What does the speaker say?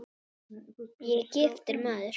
Ég er giftur maður.